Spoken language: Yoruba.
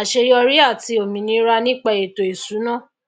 àseyorí àti òmìnira nípa ètò ìsúná